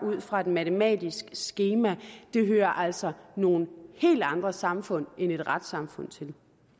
ud fra et matematisk skema hører altså nogle helt andre samfund end et retssamfund til